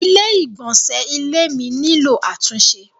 Ilé ìgbọ̀nsẹ́ ilé mi nílò àtúnṣe.